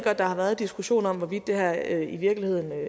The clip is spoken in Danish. at der har været diskussion om hvorvidt det her i virkeligheden